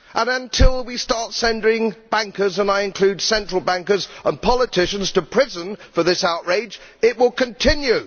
Until we start sending bankers and I include central bankers and politicians to prison for this outrage, it will continue.